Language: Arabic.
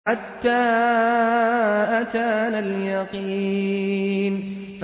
حَتَّىٰ أَتَانَا الْيَقِينُ